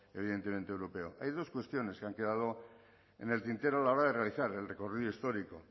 evidentemente europeo hay dos cuestiones que han quedado en el tintero a la hora de realizar el recorrido histórico